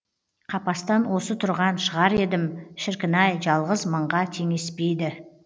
қапастан осы тұрған шығар едім шіркін ай жалғыз мыңға теңеспейді